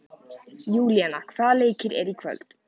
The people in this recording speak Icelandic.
Júlíana, hvaða leikir eru í kvöld?